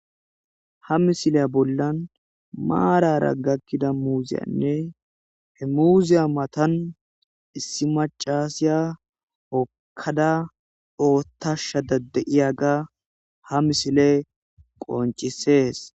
Ha misile bollan maarara gakkida muuzeynne he muuze matan issi maccasya hokkada oiththashe de'iyagabha misiley qonccises.